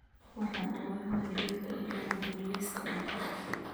Waxaan u baahanahay liinta in lagu daro liiska cuntadayda